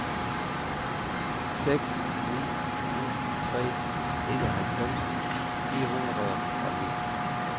seks ni ni tre enoghalvfems fire hundrede og ni